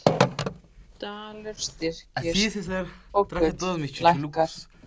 Dalur styrkist og gull lækkar